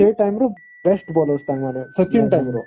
ସେ time ର best bowler Sachin time ର